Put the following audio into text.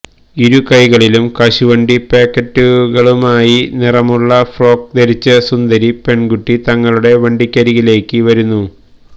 ഇരുകൈകളിലും കശുവണ്ടി പാക്കറ്റുകളുമായി നിറമുള്ള ഫ്രോക്ക് ധരിച്ച സുന്ദരി പെണ്കുട്ടി ഞങ്ങളുടെ വണ്ടിക്കരികിലേക്ക് വരുന്നു